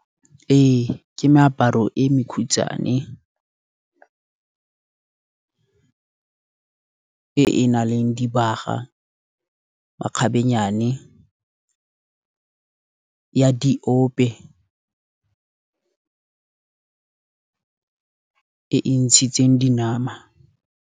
Ee ke meaparo e mekhutshwane, e e nang le dibaga makgabennyane ya diope e e ntshitseng dinama.